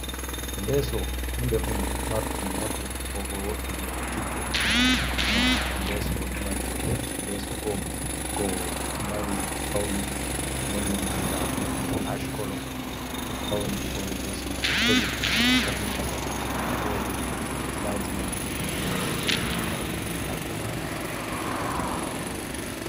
Leso hunde ɗum marɗum nafu kobo woɓɓe vi'ata tikko leso ɗo mari bote leso go go mari paune nonde maga ɗon ash kolo ɗo fauni hore leso man doffaji fahin ta fahin wodi enlajment ko hotoji guda ɗiɗi ha dow majum ɗo takki ha bongoru.